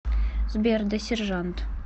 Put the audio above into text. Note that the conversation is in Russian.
сбер да сержант